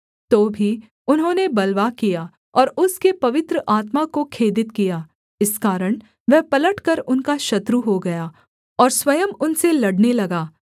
तो भी उन्होंने बलवा किया और उसके पवित्र आत्मा को खेदित किया इस कारण वह पलटकर उनका शत्रु हो गया और स्वयं उनसे लड़ने लगा